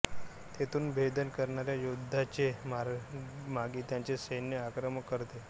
तेथून भेदन करणाऱ्या योध्याचे मागे त्याचे सैन्य मार्गक्रमण करते